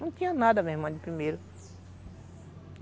Não tinha nada, minha irmã, de primeiro.